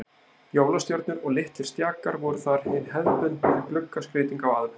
Jólastjörnur og litlir stjakar voru þar hin hefðbundna gluggaskreyting á aðventu.